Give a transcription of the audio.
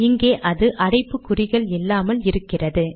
இங்கே அது அடைப்பு க்குறிகள் இல்லாமல் இருக்கிறது